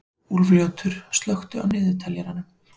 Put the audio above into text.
Úlfljótur, slökktu á niðurteljaranum.